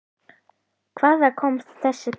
Hvaðan kom þessi kall?